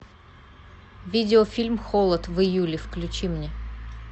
видеофильм холод в июле включи мне